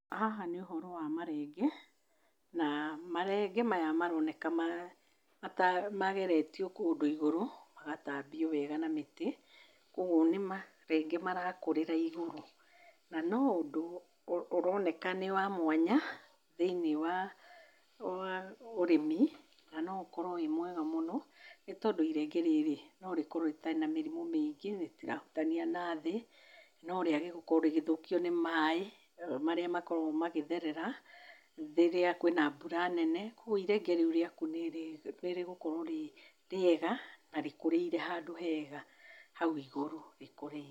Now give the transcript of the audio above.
Haha nĩ ũhoro wa marenge na marenge maya marooneka mageretio kũndũ igũrũ, magatambio wega na mĩtĩ, kwoguo nĩ marenge marakũrĩra igũrũ. Na no ũndũ ũroneka nĩ wa mwanya thĩinĩ wa wa ũrĩmi, na no ũkorwo wĩ mwega mũno nĩ tondũ irenge rĩrĩ no rĩkorwo rĩtarĩ na mĩrimũ mĩingĩ, rĩtirahutania na thĩ, no rĩage gũkorwo rĩgĩthũkio nĩ maaĩ marĩa makoragwo magĩtherera rĩrĩa kwĩna mbura nene. Kwoguo irenge rĩu rĩaku nĩ rĩgũkorwo rĩ rĩega na rĩkũrĩire handũ hega, hau igũrũ rĩkũrĩire.